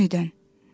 Anidən.